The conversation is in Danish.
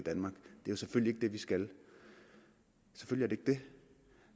jo selvfølgelig det vi skal selvfølgelig